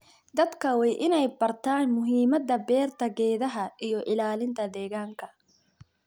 Dadka waa in ay bartaan muhiimada beerta geedaha iyo ilaalinta deegaanka.